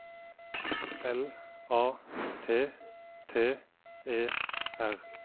L A T T E R